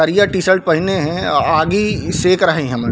करिया टीशर्ट पहिने हे अउ आगी सेक रहे हमन-- .